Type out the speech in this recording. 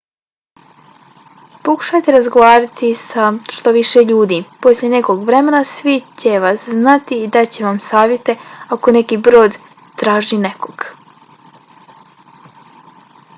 pokušajte razgovarati sa što više ljudi. poslije nekog vremena svi će vas znati i dat će vam savjete ako neki brod traži nekoga